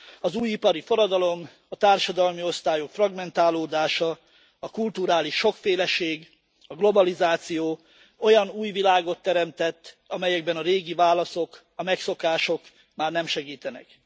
Az új ipari forradalom, a társadalmi osztályok fragmentálódása, a kulturális sokféleség, a globalizáció olyan új világot teremtett, amelyekben a régi válaszok, a megszokások már nem segítenek.